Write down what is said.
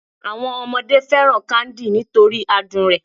Àwọn ọmọdé fẹ́ràn káńdì nítorí adùn rẹ̀